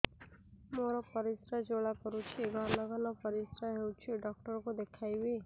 ମୋର ପରିଶ୍ରା ଜ୍ୱାଳା କରୁଛି ଘନ ଘନ ପରିଶ୍ରା ହେଉଛି ଡକ୍ଟର କୁ ଦେଖାଇବି